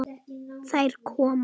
Þær koma.